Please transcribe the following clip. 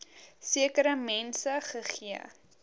sekere mense gegee